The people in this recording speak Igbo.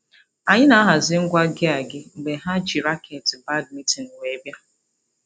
Anyị na-ahazi ngwa gịa gị mgbe ha ji raketị badmintin wee bịa.